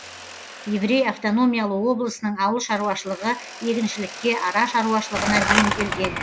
еврей автономиялы облысының ауыл шаруашылығы егіншілікке ара шаруашылығына бейімделген